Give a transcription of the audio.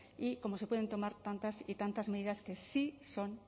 y cómo se pueden tomar tantas y tantas medidas que sí son